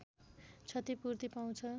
क्षतिपूर्ति पाउँछ